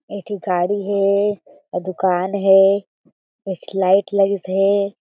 एक ठी गाड़ी हें आऊ दुकान हे एक ठी लाइट लगिस हें।